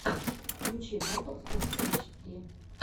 включи батл спортэйчди